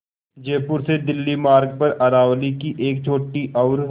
जयपुर से दिल्ली मार्ग पर अरावली की एक छोटी और